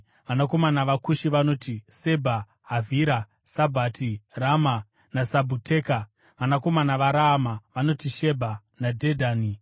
Vanakomana vaKushi vanoti: Sebha, Havhira, Sabhata, Rama naSabhiteka. Vanakomana vaRaama vanoti: Shebha naDhedhani.